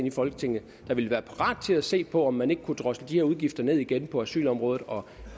i folketinget der ville være parat til at se på om man ikke kunne drosle de her udgifter ned igen på asylområdet og